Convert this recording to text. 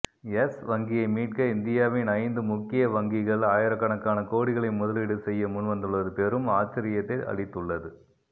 S வங்கியைமீட்க இந்தியாவின் ஐந்து முக்கிய வங்கிகள் ஆயிரக்கணக்கான கோடிகளை முதலீடு செய்ய முன்வந்துள்ளது பெரும் ஆச்சரியத்தை அளித்துள்ளது